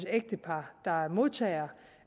ægtepar der er modtagere